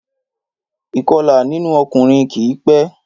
Ìkọlà nínú ọkùnrin kì í pẹ́